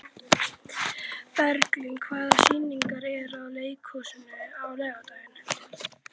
Bergrín, hvaða sýningar eru í leikhúsinu á laugardaginn?